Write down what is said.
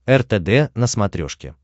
ртд на смотрешке